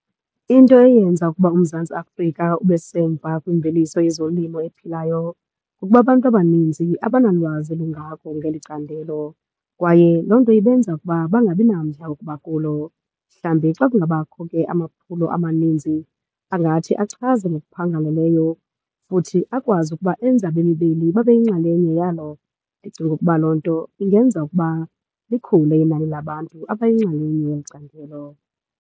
Into eyenza ukuba uMzantsi Afrika ube semva kwimveliso yezolimo ephilayo kukuba abantu abaninzi abanalwazi lungako ngeli candelo kwaye loo nto ibenza ukuba bangabi namdla wokuba kulo. Mhlawumbi xa kungabakho ke amaphulo amaninzi angathi achaze ngokuphangaleleyo futhi akwazi ukuba enze abemi beli babe yinxalenye yalo. Ndicinga ukuba loo nto ingenza ukuba likhule inani labantu abayinxalenye yeli candelo.